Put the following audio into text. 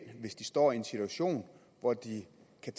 hvis de står i en situation hvor de